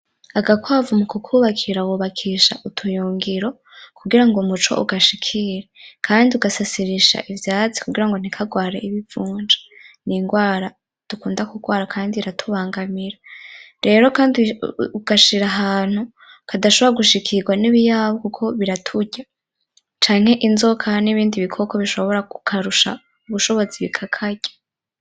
Agakwavu mu kukubakira, bubakisha utuyungiro kugira ngo umuco ugashikire. Kandi ugasasirisha ivyatsi kugira ngo ntikagware ibivunja, n'indwara dukunda kurwara kandi iratubangamira. Rero kandi ugashira ahantu kadashobora gushikirwa n'ibiyabu kuko biraturya, canke inzoka n'ibindi bikoko bishobora kukarusha ubushobozi bikakarya.